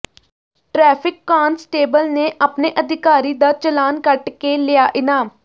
traffic constable ਨੇ ਆਪਣੇ ਅਧਿਕਾਰੀ ਦਾ ਚਲਾਨ ਕੱਟ ਕੇ ਲਿਆ ਇਨਾਮ